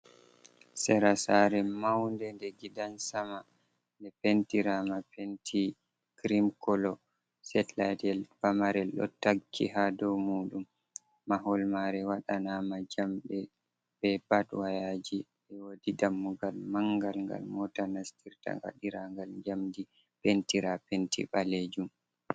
Sera sare maunde nde gidan Sama, nde Pentirama Penti kirim koloo. Setilayet Pamarel ɗo takki ha dou muɗum. Mahol mare waɗanama Jamɗee be bat wayaji, wodi dammugal mangal ngal Mota nastirta Gaɗiragal njamdi Pentira Penti Ɓalejunm.